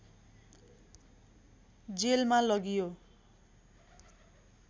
जेलमा लगियो